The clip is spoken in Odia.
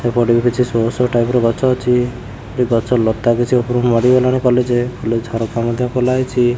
ସେପଟକୁ କିଛି ଶୋ ଶୋ ଟାଇପ୍ ର ଗଛ ଅଛି ଯୋଉ ଗଛ ଲତା କିଛି ଉପର କୁ ମାଡ଼ି ଗଲାଣି ଫୁଲ୍ ଝରକା ମଧ୍ୟ ଖୋଲା ହେଇଚି।